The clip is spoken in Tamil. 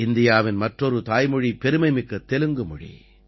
இந்தியாவின் மற்றொரு தாய்மொழி பெருமைமிக்க தெலுங்கு மொழி